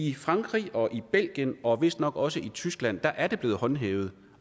i frankrig og i belgien og vistnok også i tyskland er det blevet håndhævet